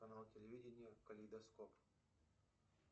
канал телевидения калейдоскоп